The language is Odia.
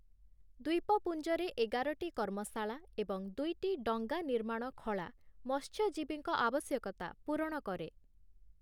ଦ୍ୱୀପପୁଞ୍ଜରେ ଏଗାରଟି କର୍ମଶାଳା ଏବଂ ଦୁଇଟି ଡଙ୍ଗା ନିର୍ମାଣ ଖଳା ମତ୍ସ୍ୟଜୀବୀଙ୍କ ଆବଶ୍ୟକତା ପୂରଣ କରେ ।